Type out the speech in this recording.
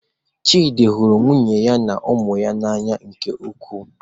Chidi hụrụ nwunye ya na ụmụ ya n'anya nke ukwuu.